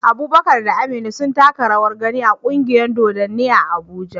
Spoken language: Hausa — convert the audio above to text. Eh, Abubakar da Amina sun taka rawar gani a kungiyar dodanni Abuja.